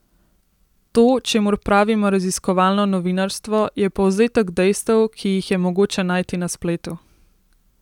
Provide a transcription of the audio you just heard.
To, čemur pravimo raziskovalno novinarstvo, je povzetek dejstev, ki jih je mogoče najti na spletu.